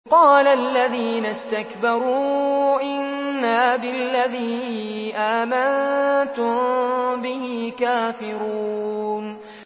قَالَ الَّذِينَ اسْتَكْبَرُوا إِنَّا بِالَّذِي آمَنتُم بِهِ كَافِرُونَ